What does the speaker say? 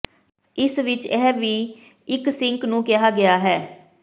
ਇਸ ਵਿਚ ਇਹ ਵੀ ਇੱਕ ਸਿੰਕ ਨੂੰ ਕਿਹਾ ਗਿਆ ਹੈ